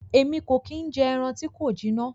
Èmí ko ki n jẹ ẹran ti ko jina.